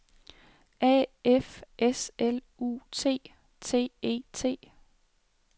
A F S L U T T E T